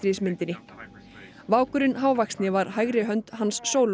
Stjörnustríðsmyndinni vákurinn hávaxni var hægri hönd Hans Solo